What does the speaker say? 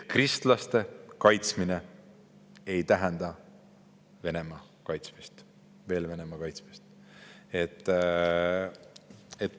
Kristlaste kaitsmine ei tähenda Venemaa kaitsmist.